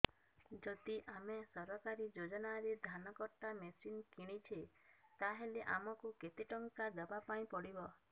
ଯଦି ଆମେ ସରକାରୀ ଯୋଜନାରେ ଧାନ କଟା ମେସିନ୍ କିଣୁଛେ ତାହାଲେ ଆମକୁ କେତେ ଟଙ୍କା ଦବାପାଇଁ ପଡିବ